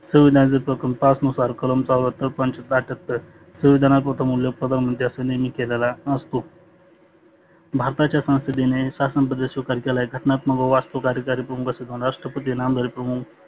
संवीधानाच्या प्रकर पाच नुसार कलम पंचात्तर अठठह्यात्तर संविधानात प्रथम उल्लेख पदावर केलेला असतो. भारताच्या संसदीने शासन घटनात्मक व वास्तु कार्यकारी प्रमुख राष्ट्रपती नामधारी प्रमुख